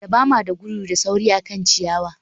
Dabama da gudu da sauri akan ciyawa